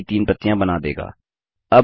यह पेड़ की तीन प्रतियाँ बना देगा